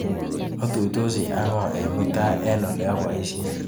Atuisoti ak ng'o mutai eng ole abaishei?